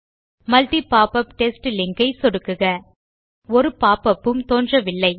multi popup test link ஐ சொடுக்குக ஒரு போப்பப் ம் தோன்றவில்லை